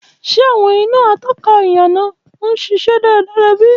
Ṣe awọn ina atóka íyànà n ṣiṣẹ daradara bi?